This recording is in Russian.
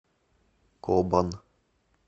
кобан